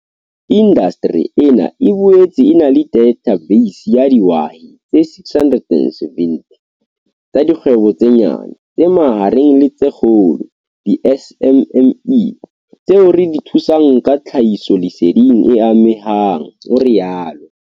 Indasteri ena e boetse e na le dathabeisi ya dihwai tse 670 tsa dikgwebo tse nyane, tse mahareng le tse kgolo, di-SMME, tseo re di thusang ka tlhahisoleseding e amehang, o rialo.